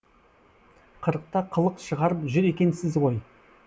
қырықта қылық шығарып жүр екенсіз ғой